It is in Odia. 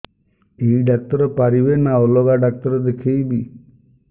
ଏଇ ଡ଼ାକ୍ତର ପାରିବେ ନା ଅଲଗା ଡ଼ାକ୍ତର ଦେଖେଇବି